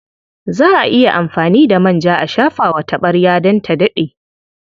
Za a iya amfani da manja a shafa wa taɓarya don ta daɗe.